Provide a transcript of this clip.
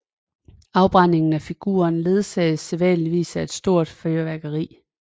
Afbrændingen af figuren ledsages sædvanligvis af et stort fyrværkeri